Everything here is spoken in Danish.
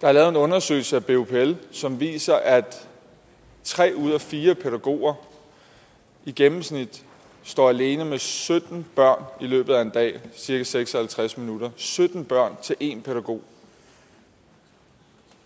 der er lavet en undersøgelse af bupl som viser at tre ud af fire pædagoger i gennemsnit står alene med sytten børn i løbet af en dag i cirka seks og halvtreds minutter sytten børn til én pædagog